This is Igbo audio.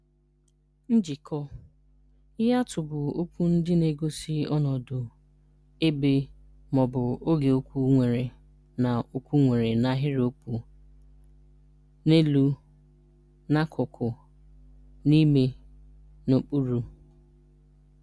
Njikọ (Prepositions): Ihe atụ bụ okwu ndị na-egosi ọnọdụ, ebe, ma ọ bụ oge okwu nwere na okwu nwere na ahịrịokwu: N’elu (On). N’akụkụ (Beside). N'ime (Inside). N'okpuru (Under).